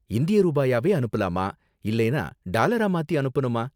இந்திய ரூபாயாவே அனுப்பலாமா இல்லைனா டாலரா மாத்தி அனுப்பனுமா?